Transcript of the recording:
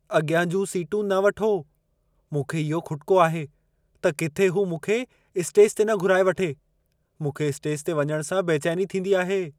अॻियां जूं सीटूं न वठो। मूंखे इहो खुटिको आहे त किथे हू मूंखे स्टेज ते न घुराए वठे। मूंखे स्टेज ते वञण सां बेचैनी थींदी आहे।